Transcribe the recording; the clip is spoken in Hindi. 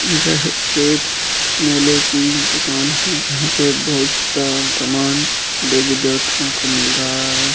यह एक मेले की दुकान है यहाँ पे बहुत सा सामान देवी देवताओ का मिल रहा है।